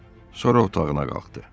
Sonra otağına qalxdı.